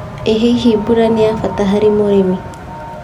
ĩ hihi mbura nĩ ya bata harĩ ũrĩmi.